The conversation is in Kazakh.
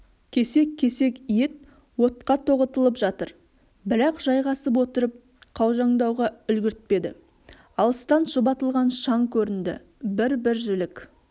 кесек-кесек ет отқа тоғытылып жатыр бірақ жайғасып отырып қаужаңдауға үлгіртпеді алыстан шұбатылған шаң көрінді бір-бір жілік